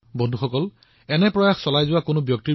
এতিয়া সময় হৈছে এই কামবোৰৰ বাবেও সকলোৰে প্ৰচেষ্টা বৃদ্ধি কৰাৰ